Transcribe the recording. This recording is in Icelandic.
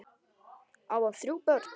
Á hann þrjú börn.